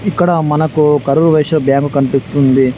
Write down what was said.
ఇక్కడ మనకు కరూర్ వైశ్య బ్యాంకు కనిపిస్తుంది.